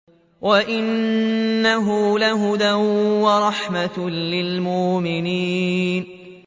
وَإِنَّهُ لَهُدًى وَرَحْمَةٌ لِّلْمُؤْمِنِينَ